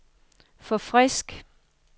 forfrisk